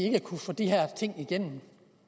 ikke kunne få de her ting igennem